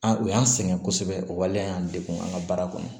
An u y'an sɛgɛn kosɛbɛ o waleya y'an degun an ka baara kɔnɔ